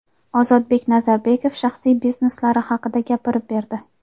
Ozodbek Nazarbekov shaxsiy bizneslari haqida gapirib berdi.